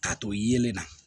Ka to yelen na